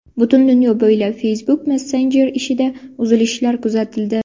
Butun dunyo bo‘ylab Facebook Messenger ishida uzilishlar kuzatildi.